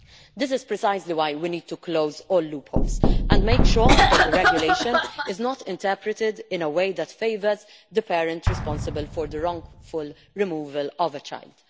This is precisely why we need to close all loopholes and make sure that the regulation is not interpreted in a way that favours the parent responsible for the wrongful removal of a child.